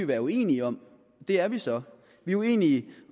være uenige om og det er vi så vi er uenige